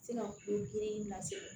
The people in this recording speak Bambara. Se ka ko kelen in lase